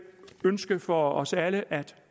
ønske for os alle at